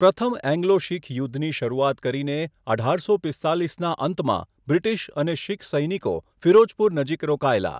પ્રથમ એંગ્લો શીખ યુદ્ધની શરૂઆત કરીને, અઢારસો પીસ્તાલીસના અંતમાં, બ્રિટિશ અને શીખ સૈનિકો ફિરોઝપુર નજીક રોકાયેલા.